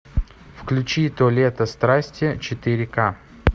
включи то лето страсти четыре ка